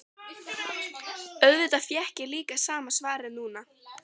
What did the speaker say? Auðvitað fékk ég líka sama svarið núna.